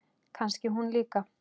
Kannski hún líka?